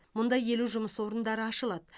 мұнда елу жұмыс орындары ашылады